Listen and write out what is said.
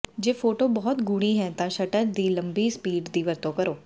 ਜੇ ਫੋਟੋ ਬਹੁਤ ਗੂੜੀ ਹੈ ਤਾਂ ਸ਼ਟਰ ਦੀ ਲੰਬੀ ਸਪੀਡ ਦੀ ਵਰਤੋਂ ਕਰੋ